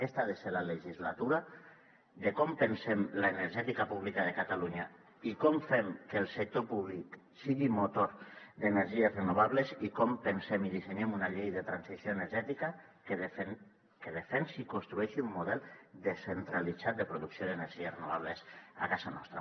aquesta ha de ser la legislatura de com pensem l’energètica pública de catalunya i com fem que el sector públic sigui motor d’energies renovables i com pensem i dissenyen una llei de transició energètica que defensi i construeixi un model descentralitzat de producció d’energies renovables a casa nostra